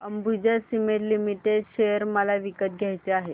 Ambuja cement limited share मला विकत घ्यायचे आहेत